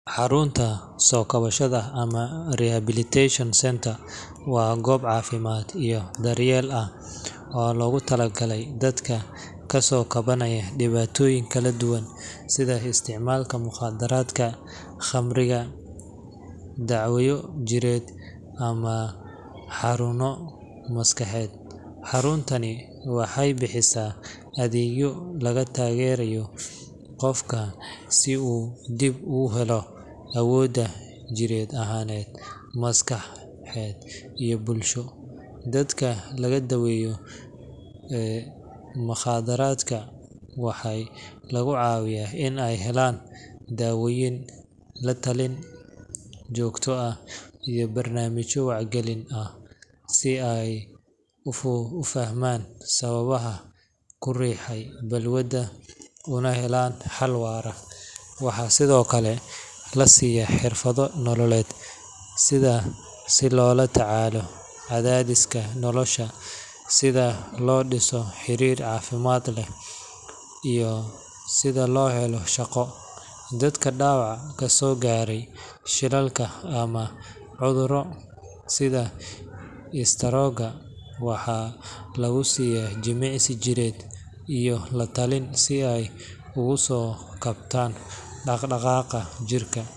Xarunta soo kabashada ama rehabilitation centre waa goob caafimaad iyo daryeel ah oo loogu talagalay dadka ka soo kabanaya dhibaatooyin kala duwan sida isticmaalka mukhaadaraadka, khamriga, dhaawacyo jireed, ama xanuuno maskaxeed. Xaruntani waxay bixisaa adeegyo lagu taageerayo qofka si uu dib ugu helo awooddiisa jir ahaaneed, maskaxeed iyo bulsho. Dadka laga daweeyo mukhaadaraadka waxaa lagu caawiyaa in ay helaan daawooyin, la-talin joogto ah, iyo barnaamijyo wacyigelin ah si ay u fahmaan sababaha ku riixay balwadda una helaan xal waara. Waxaa sidoo kale la siiyaa xirfado nololeed sida sida loola tacaalo cadaadiska nolosha, sida loo dhiso xiriir caafimaad leh, iyo sida loo helo shaqo. Dadka dhaawac kasoo gaaray shilal ama cudurro sida istaroog-ga waxaa lagu siiya jimicsi jireed iyo la talin si ay ugu soo kabtaan dhaq-dhaqaaqa jirka.